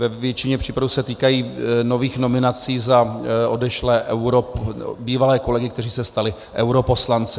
Ve většině případů se týkají nových nominací za odešlé bývalé kolegy, kteří se stali europoslanci.